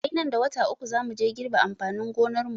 Sai nan da wata uku za muje girbe amfanin gonarmu.